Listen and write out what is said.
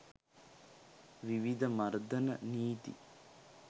විවිධ මර්ධන නීති